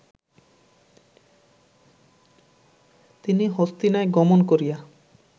তিনি হস্তিনায় গমন করিয়া